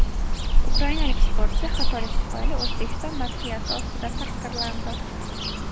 Ukrainalik sportchi xatolik tufayli O‘zbekiston madhiyasi ostida taqdirlandi .